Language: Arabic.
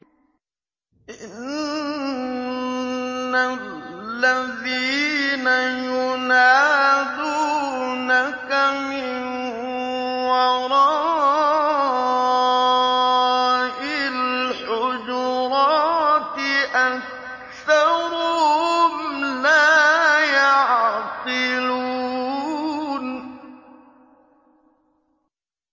إِنَّ الَّذِينَ يُنَادُونَكَ مِن وَرَاءِ الْحُجُرَاتِ أَكْثَرُهُمْ لَا يَعْقِلُونَ